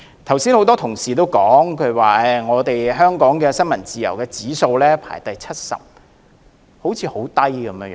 剛才有很多同事指出，香港在新聞自由指數排第七十名，排名甚低。